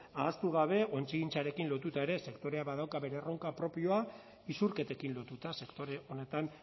ahaztu gabe ontzigintzarekin lotuta ere sektoreak badauka bere erronka propioa isurketekin lotuta sektore honetan